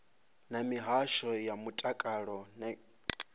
na mihasho ya mutakalo na